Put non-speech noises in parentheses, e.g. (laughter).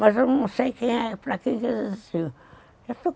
Mas eu não sei quem é, para quem (unintelligible)